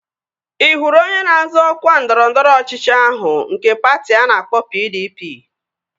Ị hụrụ onye na-azọ ọkwa ndọrọndọrọ ọchịchị ahụ nke patị a na-akpọ PDP?